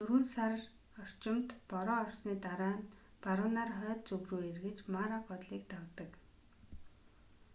дөрвөн сар орчимд бороо орсны дараа нь баруунаар хойд зүг рүү эргэж мара голыг давдаг